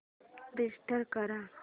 restart कर